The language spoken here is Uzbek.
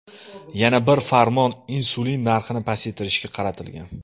Yana bir farmon insulin narxini pasaytirishga qaratilgan.